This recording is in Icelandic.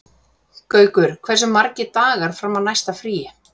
Gaukur, hversu margir dagar fram að næsta fríi?